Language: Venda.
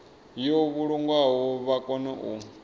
yo vhulungwaho vha kone u